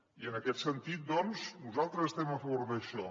i en aquest sentit doncs nosaltres estem a favor d’això